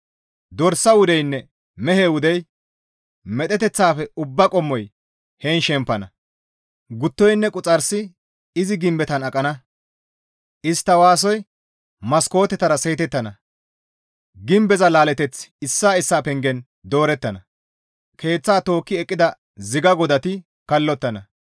Dorsa wudeynne mehe wudey, medheteththaafe ubbaa qommoy heen shempana. Guttoynne Quxarsi izi gimbetan aqana. Istta waasoy maskootetara seetettana. Gimbeza laaleththi issaa issaa pengen doorettana; keeththata tookki eqqida ziga godati kallottana.